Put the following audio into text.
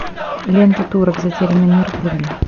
лента турок затерянный мир вруби